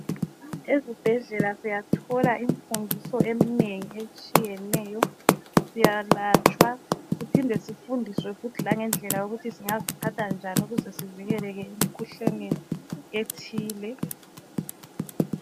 Ezibhedlela siyathola imfundiso emnengi etshiyeneyo. Siyalatshwa, siphinde sifundiswe futhi langendlela yokuthi zingaziphatha njani ukuze sivikeleke emikhuhlaneni ethile.